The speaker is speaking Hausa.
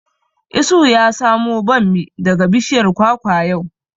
Isuhu ya samo bammi daga bishiyar kwakwa yau